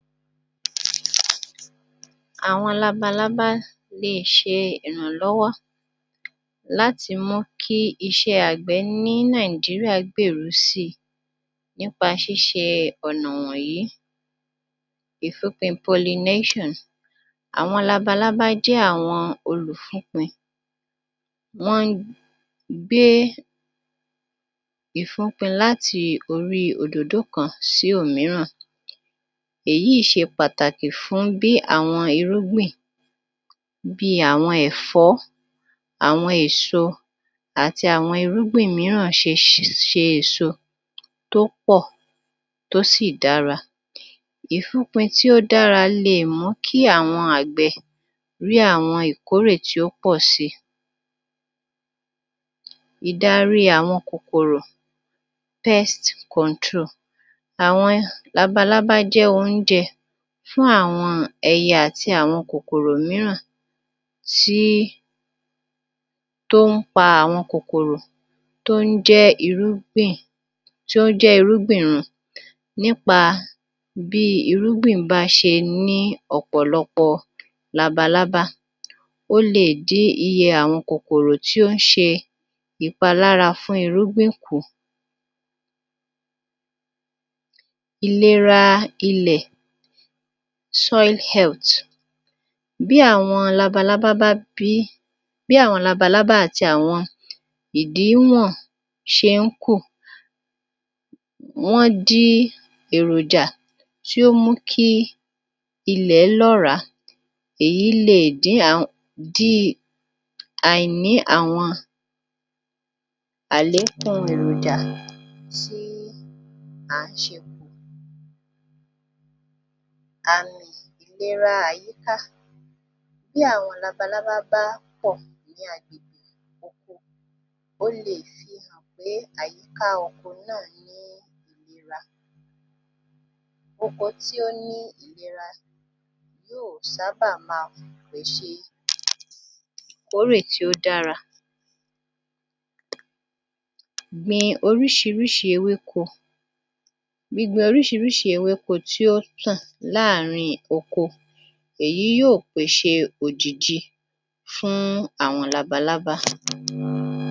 Àwọn labalábá leè ṣe ìrànlọ́wọ́ láti mú kí iṣẹ́ àgbẹ̀ ní Nàìjíríà gbèrú sí i nípa ṣíṣe ọ̀nà wọ́nyìí. Ìfúnpin pollinations: àwọn labalábá jẹ́ àwọn olùfúnpin. Wọ́n ń gbé ìfúpin láti orí òdòdó kan sí òmíràn. Èyí ìí ṣe pàtàkì fún bí àwọn irúgbìn bíi àwọn ẹ̀fọ́, àwọn èso àti àwọn irúgbìn mìíràn ṣe ṣe èso tó pọ̀, tó sì dára. Ìfúnpin tí ó dára leè mú kí àwọn àgbẹ̀ rí àwọn ìkórè tí ó pọ si. Ìdaríi àwọn kòkòrò pests control: awọn labalábá jẹ́ oúnjẹ fún àwọn ẹyẹ àti àwọn kòkòrò mìíràn tí, tó ń pa àwọn kòkòrò tó ń jẹ́ irúgbìn, tí ó ń jẹ́ irúgbìn run nípa bíi irúgbìn bá ṣe ní ọ̀pọ̀lọpọ̀ labalábá, ó leè dí iye àwọn kòkòrò tí ó ń ṣe ìpalára fún irúgbìn kù. Ìlera ilẹ̀, soil health: bí àwọn labalábá bá bí, bí àwọn labalábá àti àwọn ìdíwọ̀n ṣe ń kù wọ́n dí èròjà tí ó mú kí ilẹ̀ lọ́ràá. Èyí leè dín díi àìní àwọn àléékúnun èròjà tí à ń ṣe kù. Àmì ìlera àyíká: bí àwọn labalábá bá pọ̀ ní agbègbè oko, ó leè fihàn pé àyíká oko náà ní ìlera. Oko tí ó ní ìlera yóò sábà máa pèṣè ìkórè tí ó dára. gbin oríṣiríṣi ewéko: gbígbin oríṣiríṣi ewéko tí ó tàn láàrín oko èyí tí yóò pèṣè òjìji fún àwọn labalábá.